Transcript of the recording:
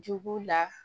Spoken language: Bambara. Jogo la